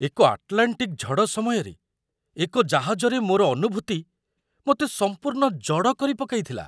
ଏକ ଆଟଲାଣ୍ଟିକ୍ ଝଡ଼ ସମୟରେ ଏକ ଜାହାଜରେ ମୋର ଅନୁଭୂତି ମୋତେ ସମ୍ପୂର୍ଣ୍ଣ ଜଡ଼ କରିପକାଇଥିଲା!